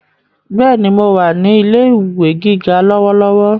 Bẹ́ẹ̀ni, mo wà ní ilé ìwé gíga lọ́wọ́lọ́wọ́